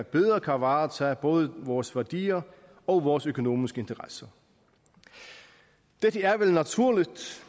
bedre kan varetage både vores værdier og vores økonomiske interesser dette er vel naturligt